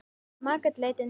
Margrét leit undan.